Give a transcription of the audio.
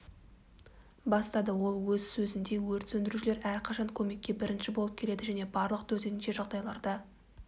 бастады ол өз сөзінде өрт сөндірушілер әрқашан көмекке бірінші болып келеді және барлық төтенше жағдайларда